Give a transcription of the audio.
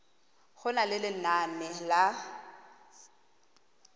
go na le lenane la